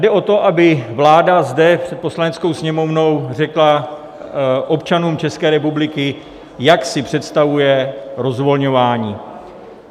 Jde o to, aby vláda zde před Poslaneckou sněmovnou řekla občanům České republiky, jak si představuje rozvolňování.